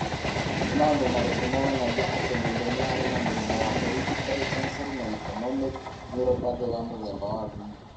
Nĩ maũndũ marĩkũ monanagia atĩ mũndũ arĩ na mũrimũ wa Hereditary sensory na autonomic neuropathy wa mũthemba wa V?